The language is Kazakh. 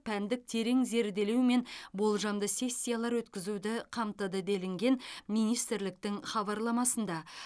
пәндік терең зерделеумен болжамды сессиялар өткізуді қамтыды делінген министрліктің хабарламасында